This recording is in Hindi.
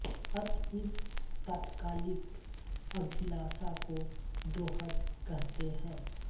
अत इस तात्कालिक अभिलाषा को दोहद कहते हैं